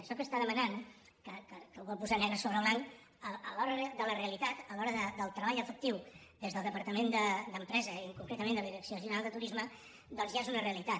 això que està demanant que ho vol posar negre sobre blanc a l’hora de la realitat a l’hora del treball efectiu des del departament d’empresa i concretament de la direcció general de turisme doncs ja és una realitat